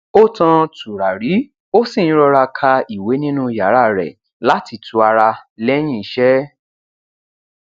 ó tan tùràrí ó sì ń rọra ka ìwé nínú yàrá rẹ láti tu ara lẹyìn iṣẹ